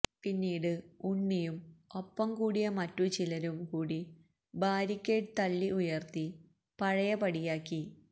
പിന്നീട് ഉണ്ണിയും ഒപ്പം കൂടിയ മറ്റു ചിലരും കൂടി ബാരിക്കേഡ് തള്ളി ഉയർത്തി പഴയപടിയാക്കി